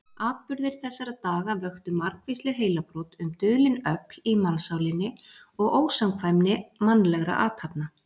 Atburðir þessara daga vöktu margvísleg heilabrot um dulin öfl í mannssálinni og ósamkvæmni mannlegra athafna.